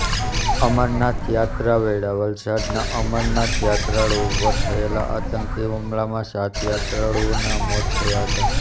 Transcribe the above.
અમરનાથ યાત્રા વેળા વલસાડના અમરનાથ યાત્રાળુઓ પર થયેલા આંતકી હુમલામાં સાત યાત્રાળુઓના મોત થયા હતાં